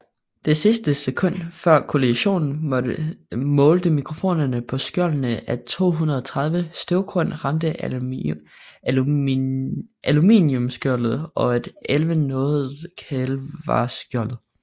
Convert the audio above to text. Det sidste sekund før kollisionen målte mikrofoner på skjoldene at 230 støvkorn ramte aluminiumsskjoldet og at 11 nåede kevlarskjoldet